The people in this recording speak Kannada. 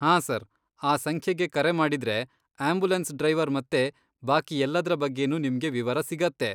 ಹಾಂ ಸರ್, ಆ ಸಂಖ್ಯೆಗೆ ಕರೆ ಮಾಡಿದ್ರೆ ಆಂಬ್ಯುಲೆನ್ಸ್ ಡ್ರೈವರ್ ಮತ್ತೆ ಬಾಕಿ ಎಲ್ಲದ್ರ ಬಗ್ಗೆನೂ ನಿಮ್ಗೆ ವಿವರ ಸಿಗುತ್ತೆ.